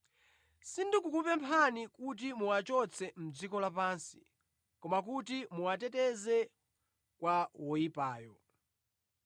Sindikupempha kuti muwachotse mʼdziko lapansi koma kuti muwateteze kwa woyipayo.